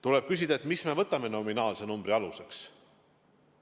Tuleb küsida, mis me võtame nominaalse numbri aluseks.